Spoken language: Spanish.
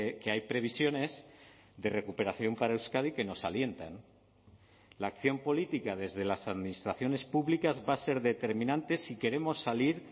que hay previsiones de recuperación para euskadi que nos alientan la acción política desde las administraciones públicas va a ser determinantes si queremos salir